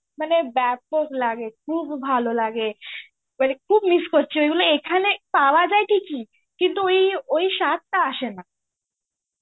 মানে বাপক লাগে. মানে খুব ভালো লাগে মানে খুব miss করছি. মানে এখানে পাওয়া যায় ঠিকই. কিন্তু ওই~ ওই স্বাদটা আসেনা.